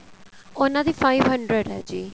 ਉਹਨਾ ਦੀ five hundred ਏ ਜੀ